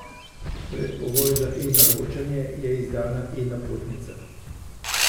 Predpogoj za eNaročanja je izdana eNapotnica.